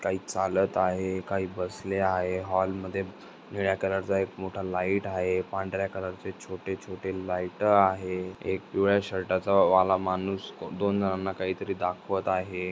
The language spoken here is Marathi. काही चालत आहे काही बसले आहे हॉल मध्ये निळ्या कलर चा एक मोठा लाइट आहे पांढऱ्या कलर चे छोटे छोटे लाइट आहे एक पिवळ्या शर्टाचा वाला मानुस दोन जनांना काहीतरी दाखवत आहे.